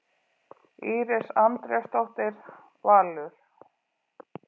Íris Andrésdóttir, Valur.